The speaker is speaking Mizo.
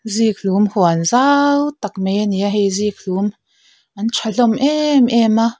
zikhlum huan zau tak mai a ni a hei zikhlum an tha hlawm em em a.